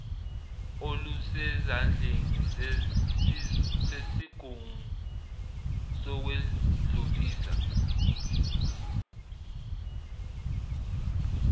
olusezandleni zesigungu sokwedlulisa